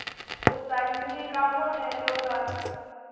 u ta nyika vonelo ra